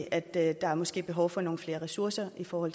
at der måske er behov for nogle flere ressourcer for at